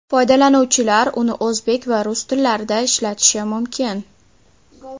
Foydalanuvchilar uni o‘zbek va rus tillarida ishlatishi mumkin.